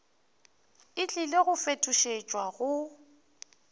e tlile go fetošetšwa go